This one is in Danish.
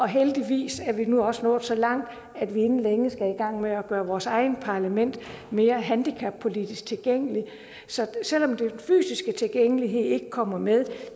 heldigvis er vi nu også nået så langt at vi inden længe skal i gang med at gøre vores eget parlament mere handicappolitisk tilgængeligt så selv om den fysiske tilgængelighed ikke kommer med